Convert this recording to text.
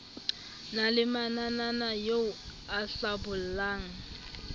na le mananaeo a hlabollang